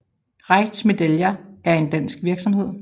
Reitz Medaljer er en dansk virksomhed